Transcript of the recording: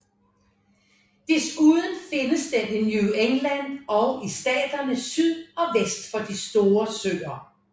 Desuden findes den i New England og i staterne syd og vest for de store søer